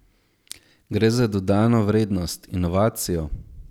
Gre za dodano vrednost, inovacijo.